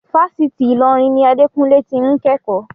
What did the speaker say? Fásitì Ilorin ni Adekunle ti ń kẹ́kọ̀ọ́.